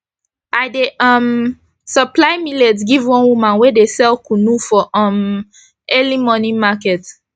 i dey um supply millet give one woman wey dey sell kunu for um early morning market